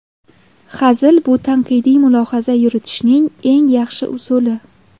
Hazil – bu tanqidiy mulohaza yuritishning eng yaxshi usuli.